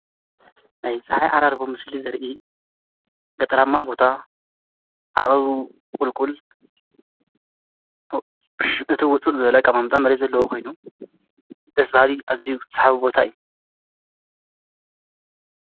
ናይፀሓይ ዓራርቦ ምስሊ ዘርኢ ገጠራማ ቦታ ዓቐብቊልኩል እቲ ውፅጥ ዘለቀማምጣ መሬ ዘለዉ ኾይኑ ተስባሪ እዚይተሓቢ ቦታ እዩ::